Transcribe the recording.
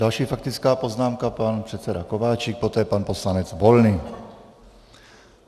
Další faktická poznámka - pan předseda Kováčik, poté pan poslanec Volný.